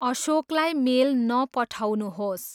अशोकलाई mail न पठाउनुहोस्।